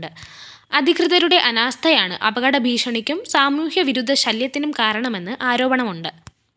അധികൃതരുടെ അനാസ്ഥയാണ് അപകടഭീഷണിക്കും സാമൂഹ്യവിരുദ്ധ ശല്യത്തിനും കാരണമെന്ന് ആരോപണമുണ്ട്